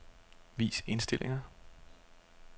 Vis indstillinger.